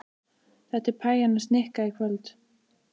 Þetta er pæjan hans Nikka í kvöld.